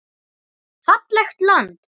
Fallegt land.